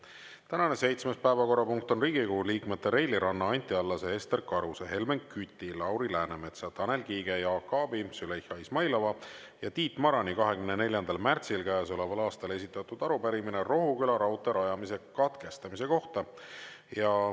Tänane seitsmes päevakorrapunkt on Riigikogu liikmete Reili Ranna, Anti Allase, Ester Karuse, Helmen Küti, Lauri Läänemetsa, Tanel Kiige, Jaak Aabi, Züleyxa Izmailova ja Tiit Marani 24. märtsil käesoleval aastal esitatud arupärimine Rohuküla raudtee rajamise katkestamise kohta.